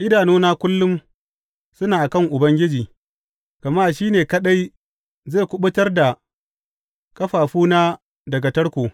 Idanuna kullum suna a kan Ubangiji, gama shi ne kaɗai zai kuɓutar da ƙafafuna daga tarko.